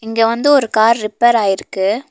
இங்க வந்து ஒரு கார் ரிப்பேர் ஆய்ருக்கு.